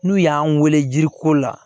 N'u y'an weele jiri ko la